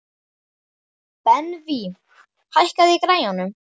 Benvý, hækkaðu í græjunum.